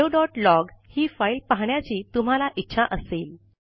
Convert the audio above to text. हॅलोलॉग ही फाइल पहाण्याची तुम्हाला इच्छा असेल